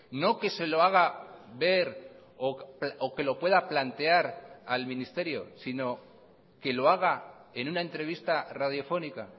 no que se lo haga ver o que lo pueda plantear al ministerio sino que lo haga en una entrevista radiofónica